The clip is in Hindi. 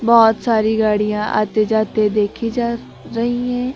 बहोत सारी गाड़ियां आते जाते देखी जा रही है।